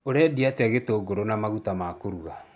Ũrendia atĩa gĩtũngũrũ na maguta ma kũruga